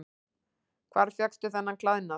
Hvar fékkstu þennan klæðnað?